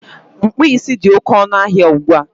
Mkpụ isi dị oké ọnụ ahịa ugbua